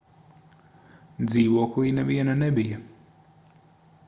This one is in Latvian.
dzīvoklī neviena nebija